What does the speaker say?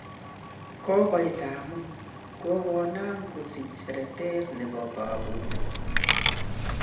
Kokoit amut, kokonam kosich seretet nepo kapuset